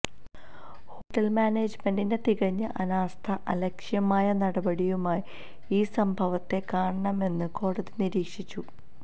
ഹോട്ടല്മാനേജ്മെന്റിന്റെ തികഞ്ഞ അനാസ്ഥയും അലക്ഷ്യമായ നടപടിയുമായി ഈ സംഭവത്തെ കാണാമെന്നും കോടതി നിരീക്ഷിച്ചു